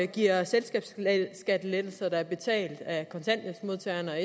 giver selskabsskattelettelser som er betalt af kontanthjælpsmodtagerne og